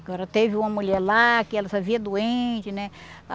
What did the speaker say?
Agora, teve uma mulher lá que ela fazia doente, né?